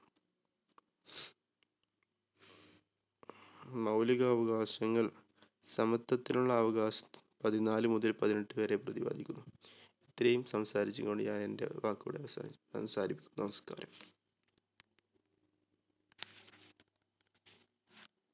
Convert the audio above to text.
മൗലിക അവകാശങ്ങൾ സമത്വത്തിനുള്ള അവകാശം പതിനാല് മുതൽ പതിനെട്ട് വരെ പ്രതിപാദിക്കുന്നു. ഇത്രയും സംസാരിച്ച് കൊണ്ട് ഞാൻ എന്റെ വാക്കുകൾ അവസാനി അവസാനിപ്പിക്കുന്നു. നമസ്‍കാരം.